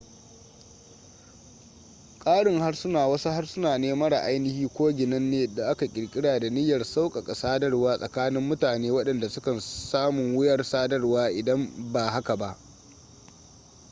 ƙarin harsuna wasu harsuna ne mara ainihi ko ginanne da aka ƙirƙira da niyyar sauƙaƙa sadarwa tsakanin mutane waɗanda sukan samun wuyar sadarwa idan ba haka ba